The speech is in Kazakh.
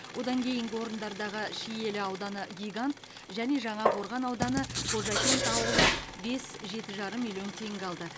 одан кейінгі орындардағы шиелі ауданы гигант және жаңақорған ауданы қожакент ауылы бес жеті жарым миллион теңге алды